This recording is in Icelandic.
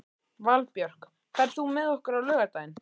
Valbjörk, ferð þú með okkur á laugardaginn?